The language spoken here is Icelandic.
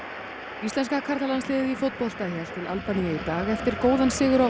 íslenska karlalandsliðið í fótbolta hélt til Albaníu í dag eftir góðan sigur á